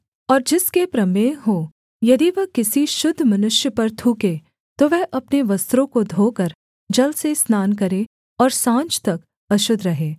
और जिसके प्रमेह हो यदि वह किसी शुद्ध मनुष्य पर थूके तो वह अपने वस्त्रों को धोकर जल से स्नान करे और साँझ तक अशुद्ध रहे